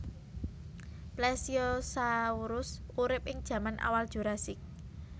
Plesiosaurus urip ing jaman awal Jurassik